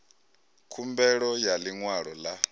khumbelo ya ḽi ṅwalo ḽa